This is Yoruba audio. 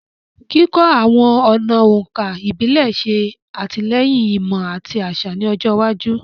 Kikọ awọn ọna òǹkà ibile ṣe atilẹyin imọ aṣa ni ọjọ iwaju